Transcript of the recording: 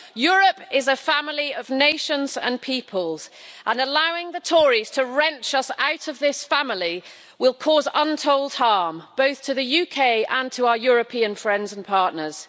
Europe is a family of nations and peoples and allowing the Tories to wrench us out of this family will cause untold harm, both to the UK and to our European friends and partners.